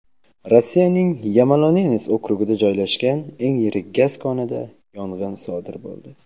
Rossiyaning Yamalo-Nenes okrugida joylashgan eng yirik gaz konida yong‘in sodir bo‘ldi.